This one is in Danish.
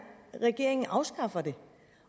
regeringen afskaffer det